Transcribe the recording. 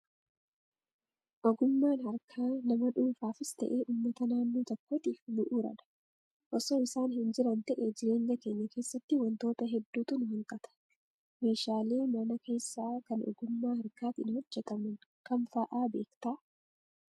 Ogummaan harkaa nama dhuunfaafis ta'ee uummata naannoo tokkootiif bu'uuradha. Osoo isaan hin jiran ta'ee jireenya keenya keessatti wantoota hedduutu nu hanqata. Meeshaalee mana keessaa kan ogummaa harkaatiin hojjataman kam fa'aa beektaa?